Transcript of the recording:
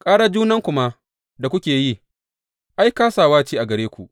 Ƙarar junanku ma da kuke yi, ai, kāsawa ce a gare ku.